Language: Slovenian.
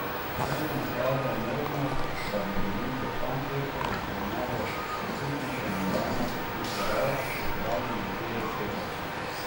S tem je nakazal možnost, da bi bili v Frankfurtu v primeru občutnejše nadaljnje krepitve evra pripravljeni tudi ukrepati.